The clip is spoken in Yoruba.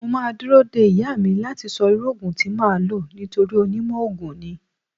Mo máa dúró de ìyá mi láti sọ irú Ògùn tí máa lò nítorí onímọ̀ ogun ni.